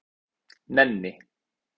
Nenni